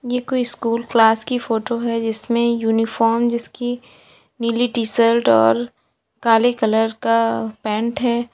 ये कोई school class की फोटो है जिसमें यूनिफॉर्म जिसकी नीली टी शर्ट और काले कलर का पैंट है।